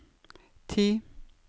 ti